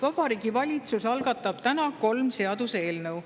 Vabariigi Valitsus algatab täna kolm seaduseelnõu.